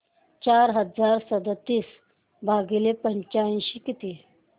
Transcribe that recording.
चार हजार सदतीस भागिले पंच्याऐंशी किती